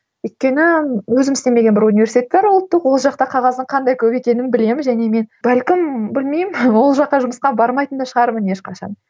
өйткені өзім істемеген бір университет бар ұлттық ол жақта қағаздың қандай көп екенін білемін және мен бәлкім білмеймін ол жаққа жұмысқа бармайтын да шығармын ешқашан